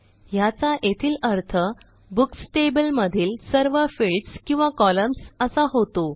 ह्याचा येथील अर्थ बुक्स टेबल मधील सर्व फील्ड्स किंवा कॉलम्न्स असा होतो